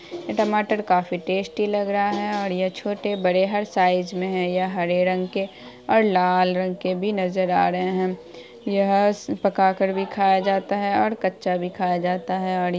टमाटर काफी टेस्टी लग रहा हैं। और ये छोटे बड़े हर साइज में है यह हरे रंग के ओर लाल रंग के भी नजर आ रहे हैं। यह पका कर भी खाया जा सकता हैं। और कच्चा भी खाया जाता हैं। और --